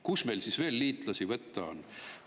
Kust meil siis veel liitlasi võtta on?